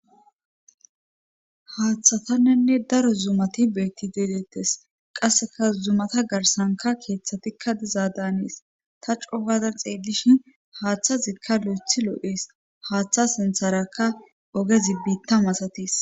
haaththataninne daro zumati beetti deedeettes qasseka zumata garsanka keeththatikka dizadanees ta cofazan xeelishin haaththazikka lo7ethi loo7ees haththa sintharakka ogezi biitta masatis.